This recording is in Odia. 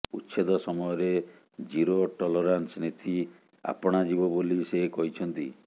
ଉଚ୍ଛେଦ ସମୟରେ ଜିରୋ ଟଲରାନ୍ସ ନୀତି ଆପଣା ଯିବ ବୋଲି ସେ କହିଛନ୍ତି